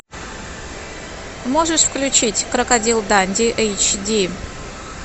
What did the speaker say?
можешь включить крокодил данди эйч ди